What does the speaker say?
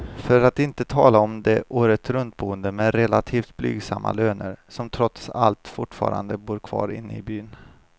För att inte tala om de åretruntboende med relativt blygsamma löner, som trots allt fortfarande bor kvar inne i byn.